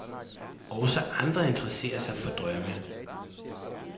Også andre interesserer sig for drømme.